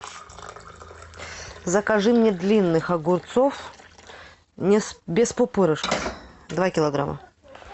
закажи мне длинных огурцов без пупырышков два килограмма